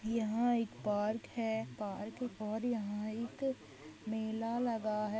यहाँ एक पार्क है पार्क और यहाँ एक मेला लगा है।